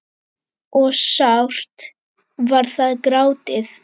og sárt var þar grátið.